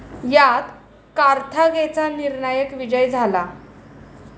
यात कार्थागेचा निर्णायक विजय झाला.